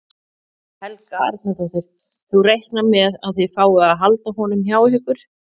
Helga Arnardóttir: Þú reiknar með að þið fáið að halda honum hjá ykkur?